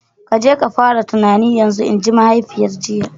Ka je ka fara tunani yanzu! Inji mahaifiyar jiya.